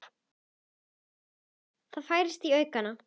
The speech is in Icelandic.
Það færist í aukana.